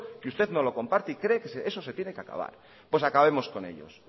que usted no lo comparte y cree que eso se tiene que acabar pues acabemos con ellos